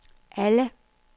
alle